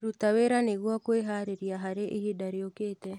Ruta wĩra nĩguo kwĩharĩrĩria harĩ ihinda rĩũkĩte